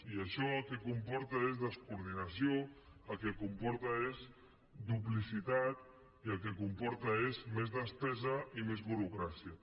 i això el que comporta és descoordinació el que comporta és duplicitat i el que comporta és més despesa i més burocràcia